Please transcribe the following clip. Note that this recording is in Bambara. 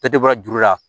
Bɛɛ tɛ bɔra juru la